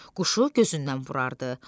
Quşu gözündən vurardı.